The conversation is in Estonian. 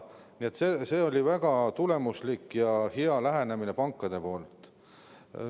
Nii on see olnud väga tulemuslik ja hea lähenemine pankadelt.